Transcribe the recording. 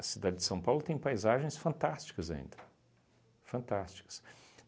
A cidade de São Paulo tem paisagens fantásticas ainda, fantásticas.